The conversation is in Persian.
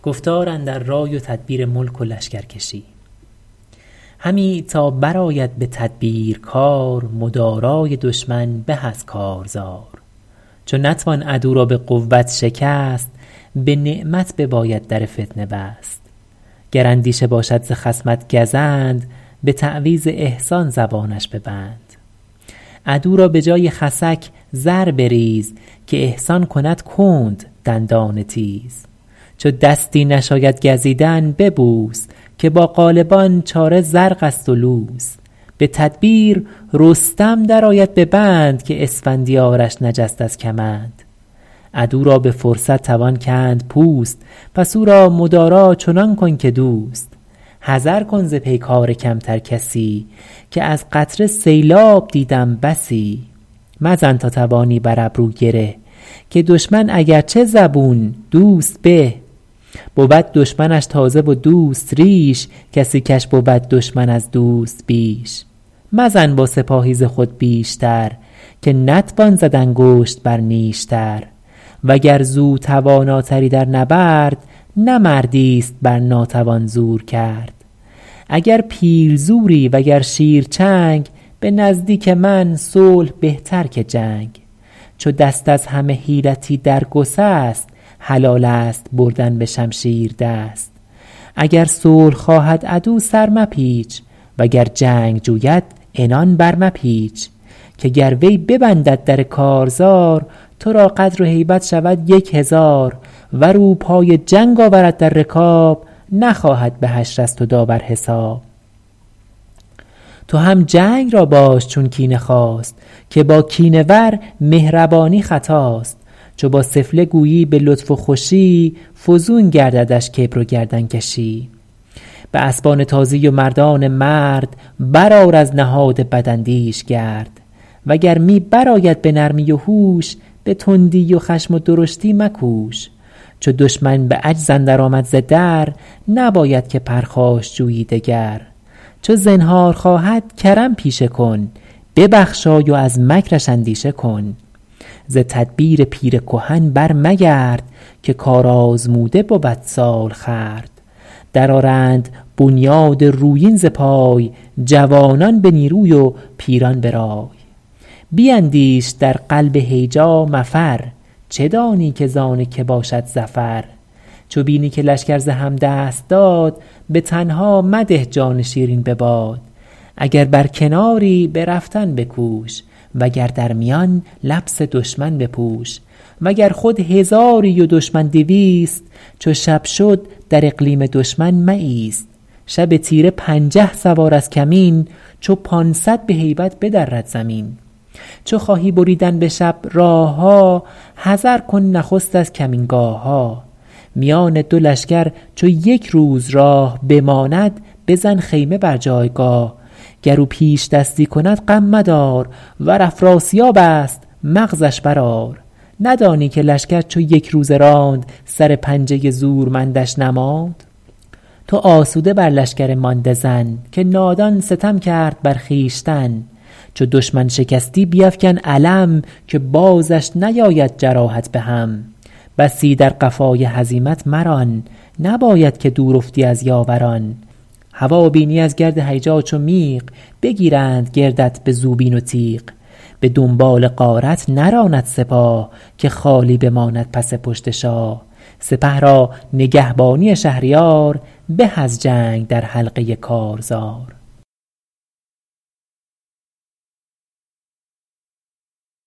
همی تا برآید به تدبیر کار مدارای دشمن به از کارزار چو نتوان عدو را به قوت شکست به نعمت بباید در فتنه بست گر اندیشه باشد ز خصمت گزند به تعویذ احسان زبانش ببند عدو را به جای خسک زر بریز که احسان کند کند دندان تیز چو دستی نشاید گزیدن ببوس که با غالبان چاره زرق است و لوس به تدبیر رستم در آید به بند که اسفندیارش نجست از کمند عدو را به فرصت توان کند پوست پس او را مدارا چنان کن که دوست حذر کن ز پیکار کمتر کسی که از قطره سیلاب دیدم بسی مزن تا توانی بر ابرو گره که دشمن اگرچه زبون دوست به بود دشمنش تازه و دوست ریش کسی کش بود دشمن از دوست بیش مزن با سپاهی ز خود بیشتر که نتوان زد انگشت بر نیشتر وگر زو تواناتری در نبرد نه مردی است بر ناتوان زور کرد اگر پیل زوری وگر شیر چنگ به نزدیک من صلح بهتر که جنگ چو دست از همه حیلتی در گسست حلال است بردن به شمشیر دست اگر صلح خواهد عدو سر مپیچ وگر جنگ جوید عنان بر مپیچ که گر وی ببندد در کارزار تو را قدر و هیبت شود یک هزار ور او پای جنگ آورد در رکاب نخواهد به حشر از تو داور حساب تو هم جنگ را باش چون کینه خواست که با کینه ور مهربانی خطاست چو با سفله گویی به لطف و خوشی فزون گرددش کبر و گردن کشی به اسبان تازی و مردان مرد بر آر از نهاد بداندیش گرد و گر می بر آید به نرمی و هوش به تندی و خشم و درشتی مکوش چو دشمن به عجز اندر آمد ز در نباید که پرخاش جویی دگر چو زنهار خواهد کرم پیشه کن ببخشای و از مکرش اندیشه کن ز تدبیر پیر کهن بر مگرد که کارآزموده بود سالخورد در آرند بنیاد رویین ز پای جوانان به نیروی و پیران به رای بیندیش در قلب هیجا مفر چه دانی که زان که باشد ظفر چو بینی که لشکر ز هم دست داد به تنها مده جان شیرین به باد اگر بر کناری به رفتن بکوش وگر در میان لبس دشمن بپوش وگر خود هزاری و دشمن دویست چو شب شد در اقلیم دشمن مایست شب تیره پنجه سوار از کمین چو پانصد به هیبت بدرد زمین چو خواهی بریدن به شب راه ها حذر کن نخست از کمینگاه ها میان دو لشکر چو یک روز راه بماند بزن خیمه بر جایگاه گر او پیشدستی کند غم مدار ور افراسیاب است مغزش بر آر ندانی که لشکر چو یک روزه راند سر پنجه زورمندش نماند تو آسوده بر لشکر مانده زن که نادان ستم کرد بر خویشتن چو دشمن شکستی بیفکن علم که بازش نیاید جراحت به هم بسی در قفای هزیمت مران نباید که دور افتی از یاوران هوا بینی از گرد هیجا چو میغ بگیرند گردت به زوبین و تیغ به دنبال غارت نراند سپاه که خالی بماند پس پشت شاه سپه را نگهبانی شهریار به از جنگ در حلقه کارزار